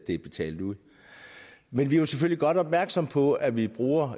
det er betalt ud men vi er selvfølgelig godt opmærksomme på at vi bruger